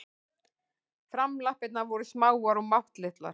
Framlappirnar voru smáar og máttlitlar.